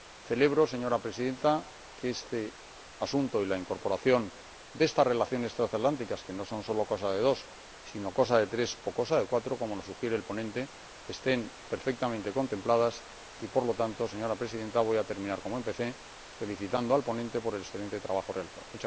Celebro, señora Presidenta, que este asunto y la incorporación de las relaciones transatlánticas, que no son solo cosa de dos, sino cosa de tres o cosa de cuatro como nos sugiere el ponente estén perfectamente contemplados en el informe y, por lo tanto, señora Presidenta, voy a terminar como empecé felicitando al ponente por el excelente trabajo realizado.